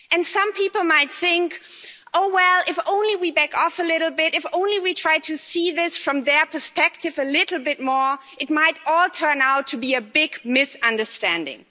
Some people might think, oh well, if we just back off a little bit, if we just try to see this from their perspective a little bit more, it might all turn out to be a big misunderstanding.